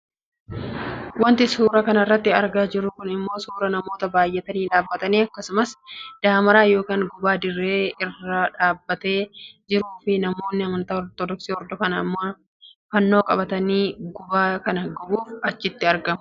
Wanti suuraa kanarratti argaa jirru kun ammoo suuraa namoota baayyatanii dhaabbatanii akkasumas daamaaraa yookaan gubaa dirree irra dhaabbatee jiruufi namoonni amantaa ortodoksi hordofan ammoo fannoo qabatanii gubaa kana gubuuf achitti argamu.